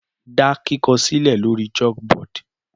Da kikọ silẹ lori chalkboard